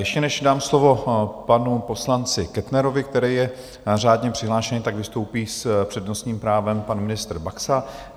Ještě než dám slovo panu poslanci Kettnerovi, který je řádně přihlášený, tak vystoupí s přednostním právem pan ministr Baxa.